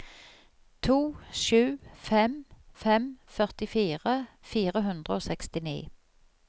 to sju fem fem førtifire fire hundre og sekstini